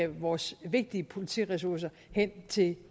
vores vigtige politiressourcer hen til